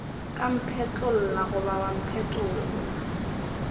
ka mphetlolla goba wa mpetolla